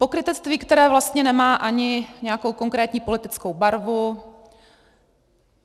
Pokrytectví, které vlastně nemá ani nějakou konkrétní politickou barvu.